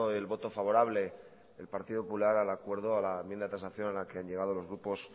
el voto favorable del partido popular al acuerdo a la enmienda de transacción al que han llegado los grupos